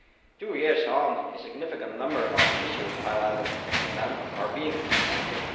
Two years on, a significant number of issues highlighted then are being complemented.